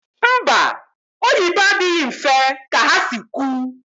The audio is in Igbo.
Mba, oyibo adịghị mfe ka ha si kwu